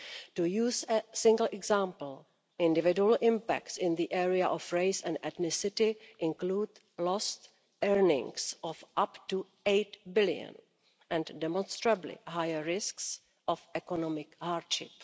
To use a single example, individual impacts in the area of race and ethnicity include lost earnings of up to EUR 8 billion and demonstrably higher risks of economic hardship.